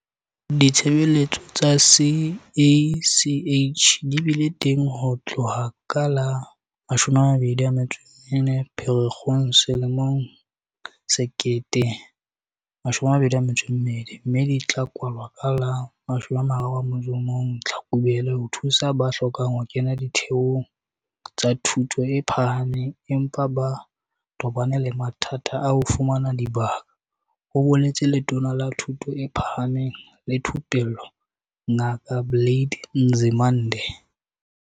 "Ditshebeletso tsa CACH di bile teng ho tloha ka la 24 Pherekgong 2022 mme di tla kwalwa ka la 31 Tlhakubele ho thusa ba hlokang ho kena ditheong tsa thuto e phahameng empa ba tobane le mathata a ho fumana dibaka," ho boletse Letona la Thuto e Phahameng le Thupello Ngaka Blade Nzimande.